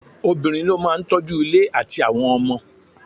Obìnrin ní o máà tọ́ju ilé àtí àwọn ọmọ.